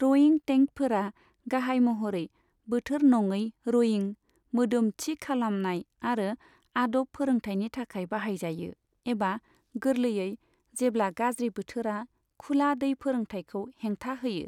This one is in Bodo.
रयिं टेंकफोरा गाहाय महरै बोथोर नङै रयिं, मोदोम थि खालामनाय आरो आदब फोरोंथायनि थाखाय बाहायजायो, एबा गोरलैयै जेब्ला गाज्रि बोथोरा खुला दै फोरोंथायखौ हेंथा होयो।